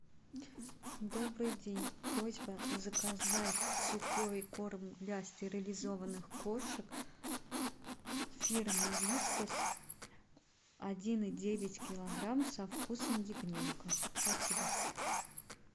добрый день просьба заказать сухой корм для стерилизованных кошек фирмы вискас один и девять килограмм со вкусом ягненка спасибо